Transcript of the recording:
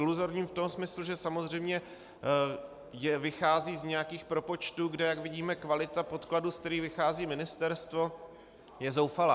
Iluzorním v tom smyslu, že samozřejmě vychází z nějakých propočtů, kde, jak vidíme, kvalita podkladů, ze kterých vychází ministerstvo, je zoufalá.